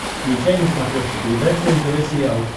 включай на смотрешке передачу нтв сериал